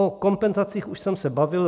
O kompenzacích už jsem se bavil.